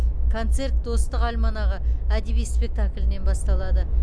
концерт достық альманағы әдеби спектаклінен басталады